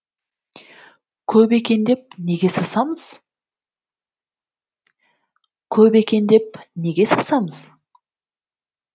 көп екен деп неге сасамыз көп екен деп неге сасамыз